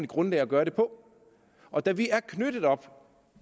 grundlag at gøre det på og da vi er knyttet op